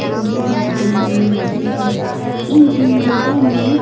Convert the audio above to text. दिन की दिखाई दे रही है इन बिल्डिंगों में--